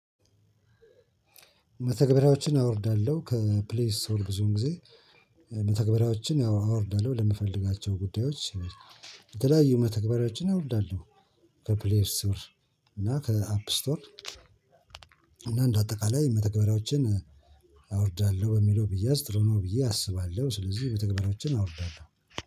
መተግበርያዎችን አወርዳለው ከፕሌይ ስቶር ብዙ ጊዜ መተግበርያዎችን ያው አወርዳለሁ ለምፈልጋቸው ጉዳዮች የተለያዩ መተግበርያዎችን አወርዳለሁ። ከፕሌይ ስቶር እና ከአፕ ስቶር እና እንደ አጠቃላይ መተግበሪያዎችን አወርዳለሁ በሚለው ቢያዝ ጥሩ ነው ብዬ አስባለሁ ስለዚህ መተግባርያዎችን አወርዳለሁ።